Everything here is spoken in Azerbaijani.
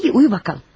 İyi, uyu bakalım.